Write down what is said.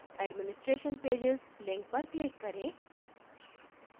administration pages link पर click करें